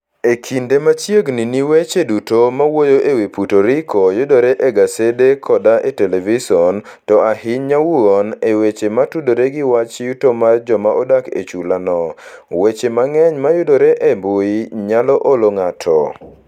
E kinde ma chiegni ni weche duto mawuoyo e wi Puerto Rico yudore e gasede koda e televison, to ahinya wuon e weche motudore gi wach yuto mar joma odak e chulano, weche mang'eny mayudore e mbui nyalo olo ng'ato.